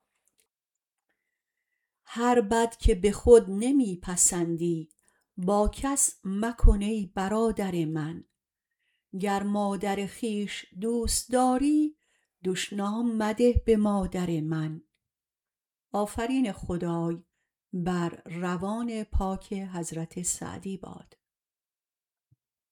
هر بد که به خود نمی پسندی با کس مکن ای برادر من گر مادر خویش دوست داری دشنام مده به مادر من